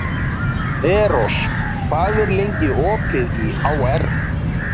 Eros, hvað er lengi opið í HR?